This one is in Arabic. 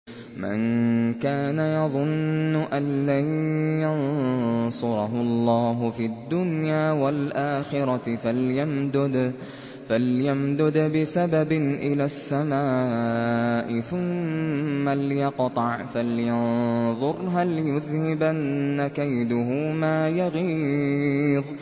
مَن كَانَ يَظُنُّ أَن لَّن يَنصُرَهُ اللَّهُ فِي الدُّنْيَا وَالْآخِرَةِ فَلْيَمْدُدْ بِسَبَبٍ إِلَى السَّمَاءِ ثُمَّ لْيَقْطَعْ فَلْيَنظُرْ هَلْ يُذْهِبَنَّ كَيْدُهُ مَا يَغِيظُ